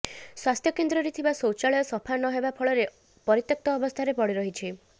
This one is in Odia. ସ୍ୱାସ୍ଥ୍ୟକେନ୍ଦ୍ରରେ ଥିବା ଶୌଚାଳୟ ସଫା ନହେବା ଫଳରେ ପରିତ୍ୟକ୍ତ ଅବସ୍ଥାରେ ପଡ଼ିରହିଛି